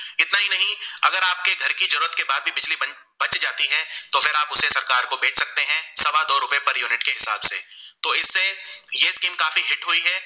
ये scheme काफी Hit हुई है